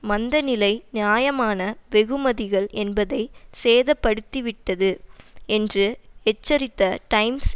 மந்த நிலை நியாயமான வெகுமதிகள் என்பதை சேதப்படுத்திவிட்டது என்று எச்சரித்த டைம்ஸ்